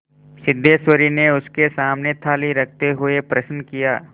सिद्धेश्वरी ने उसके सामने थाली रखते हुए प्रश्न किया